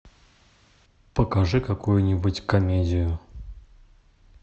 покажи какую нибудь комедию